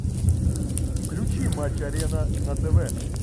включи матч арена на тв